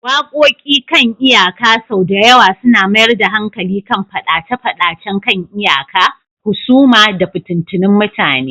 Waƙoƙi kan iyaka sau da yawa suna mayar da hankali kan fadace-fadacen kan iyaka, husuma, da fitattun mutane